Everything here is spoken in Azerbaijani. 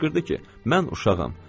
Qışqırdı ki, mən uşağam.